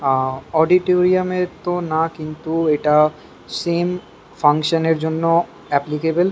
এ- অডিটোরিয়ামের তো না কিন্তু এটা সেম ফাঙ্কশন এর জন্য এপ্লিকেবল ।